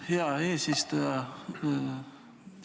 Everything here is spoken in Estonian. Hea eesistuja!